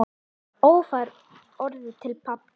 Örfá orð til pabba.